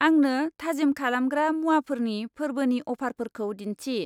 आंनो थाजिम खालामग्रा मुवाफोरनि फोरबोनि अफारफोरखौ दिन्थि।